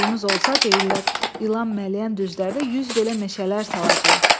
Suyumuz olsa, deyirlər, ilan mələyən düzlərdə yüz belə meşələr salacağıq.